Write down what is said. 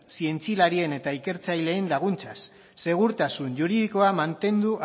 zientzialarien eta ikertzaileen laguntzaz segurtasun juridikoa mantendu